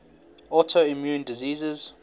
autoimmune diseases